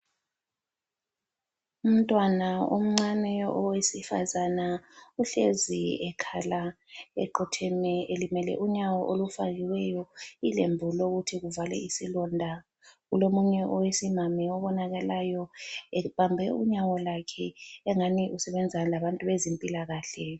Umntwana omncane owesifazana uhlezi ekhala eqotsheme elimele unyawo olufakiweyo ilembu lokuthi kuvalwe isilonda. Kulomunye owesimami obonakalayo ebambe unyawo lwakhe engani usebenza labantu bezempilakahle.